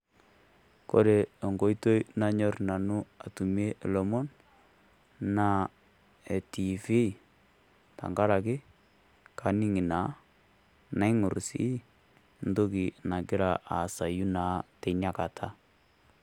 Kore enkoitoi nanyorr Nanu atumie ilomon naa tengaraki kanyorr Ina naa kaing'orr sii entoki nagira aasau naa teina Kata.